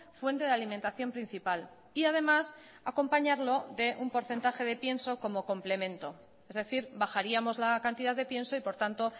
fuente de alimentación principal y además acompañarlo de un porcentaje de pienso como complemento es decir bajaríamos la cantidad de pienso y por tanto